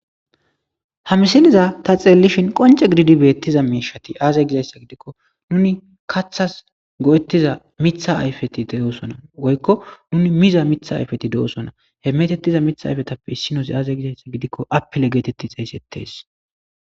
Haa misileza ta xeelishn qonce gidid beyiza mishati aaze gizaysa gidikon nuni kathas go'etiza Mitha ayfeti de'osona, woyko nuni miza Mitha ayfeti de'osona , he meetetiza Mitha ayfetappe issinozi aze gizaysa gidiko apple geteti xeysetes